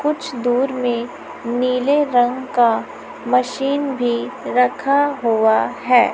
कुछ दूर में नीले रंग का मशीन भी रखा हुआ है।